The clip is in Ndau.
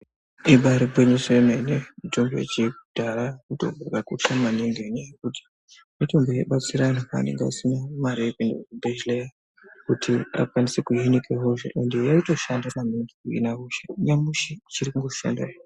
Ibari gwinyiso yemene mitombo yechi dhara mitombo yakakosha maningi mitombo yaibatsira vanhu pavanga vasina mari yekuenda kuchibhedhlerakuti akwanise kuhina hosha ende yaitoshanda nanyamashi achiri kushanda.